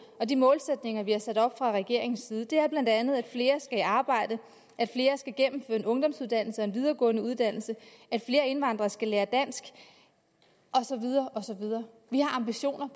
og de målsætninger vi har sat op fra regeringens side er bla at flere skal i arbejde at flere skal gennemføre en ungdomsuddannelse og en videregående uddannelse at flere indvandrere skal lære dansk og så videre og så videre vi har ambitioner